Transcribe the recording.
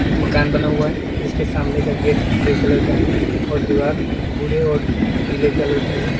एक मकान बना हुआ है जिसके सामने का गेट ग्रे कलर का है और दीवार भूरे और पीले कलर की है।